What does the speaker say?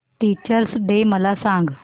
teachers day मला सांग